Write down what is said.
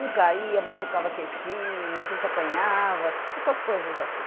Um caía, machucava queixinho, a gente apanhava, essas coisas assim.